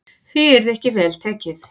Því yrði ekki vel tekið.